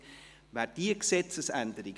Schlussabstimmung (1. und einzige Lesung)